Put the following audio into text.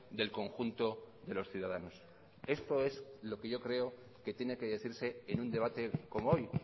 del conjunto de los ciudadanos esto es lo que yo creo que tiene que decirse en un debate como hoy